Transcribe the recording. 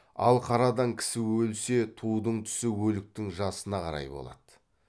ал қарадан кісі өлсе тудың түсі өліктің жасына қарай болады